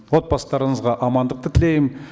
отбасыларыңызға амандықты тілеймін